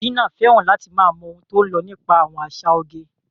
Gina fẹ́ràn láti máa mọ ohun tó ń lọ nípa àwọn àṣà oge.